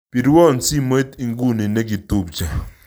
Birwon simoit iguni nekitubche